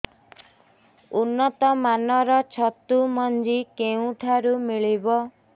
ଉନ୍ନତ ମାନର ଛତୁ ମଞ୍ଜି କେଉଁ ଠାରୁ ମିଳିବ